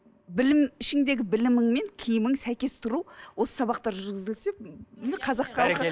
білім ішіңдегі білімің мен киімің сәйкес тұру осы сабақтар жүргізілсе қазақ халқы